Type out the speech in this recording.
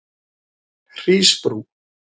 Hrísbrú